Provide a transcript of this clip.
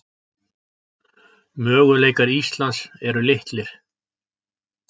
Möguleikar Íslands eru litlir